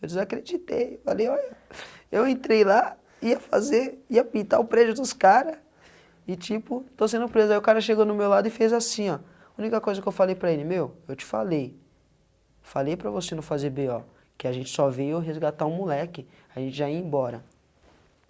Eu desacreditei, falei, olha, eu entrei lá, ia fazer, ia pintar o prédio dos cara e tipo, estou sendo preso, aí o cara chegou no meu lado e fez assim, ó, a única coisa que eu falei para ele, meu, eu te falei, falei para você não fazer bê ó, que a gente só veio resgatar o moleque, a gente já ia embora.